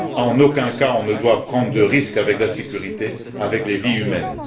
En aucun cas, on ne doit prendre de risque avec la sécurité, avec les vies humaines.